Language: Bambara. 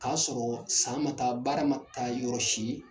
K'a sɔrɔ san ma ka taa baara ma taa yɔrɔsi